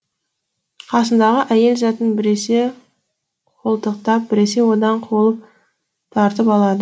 қасындағы әйел затын біресе қолтықтап біресе одан қолын тартып алады